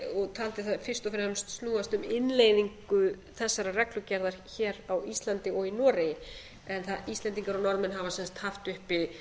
og taldi það fyrst og fremst snúast um innleiðingu þessarar reglugerðar hér á íslandi og í noregi en íslendingar og norðmenn hafa haft uppi